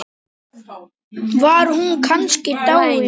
Var hún kannski dáin?